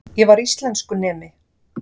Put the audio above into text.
Ég var íslenskunemi.